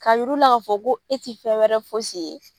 Ka yiru la ka fɔ ko e ti fɛn wɛrɛ fosi ye.